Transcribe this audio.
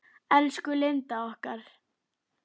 Elsku Linda okkar.